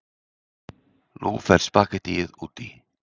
Nú fer spaghettíið út í.